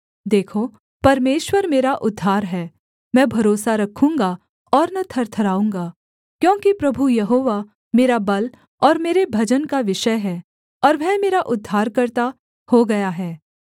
देखो परमेश्वर मेरा उद्धार है मैं भरोसा रखूँगा और न थरथराऊँगा क्योंकि प्रभु यहोवा मेरा बल और मेरे भजन का विषय है और वह मेरा उद्धारकर्ता हो गया है